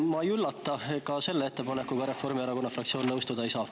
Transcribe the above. Ma ei üllata: ka selle ettepanekuga Reformierakonna fraktsioon nõustuda ei saa.